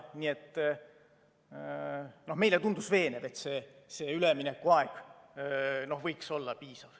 Nii et meile tundus veenev, et see üleminekuaeg võiks olla piisav.